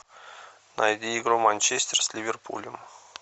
найди игру манчестер с ливерпулем